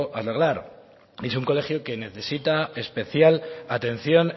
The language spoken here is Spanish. arreglar es un colegio que necesita especial atención